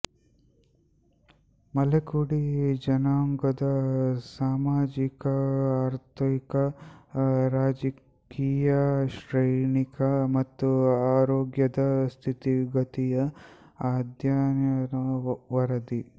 ಮಲೆಕುಡಿ ಜನಾಂಗದ ಸಾಮಜಿಕಆರ್ಥಿಕ ರಾಜಕೀಯಶೈಕ್ಷಣಿಕ ಮತ್ತು ಆರೋಗ್ಯದ ಸ್ಥಿತಿಗತಿಯ ಅಧ್ಯಯನ ವರದಿ